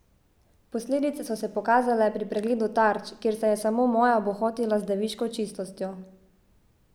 Posledice so se pokazale pri pregledu tarč, kjer se je samo moja bohotila z deviško čistostjo.